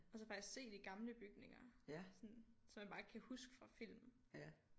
Og så faktisk se de gamle bygninger sådan som man bare kan huske fra film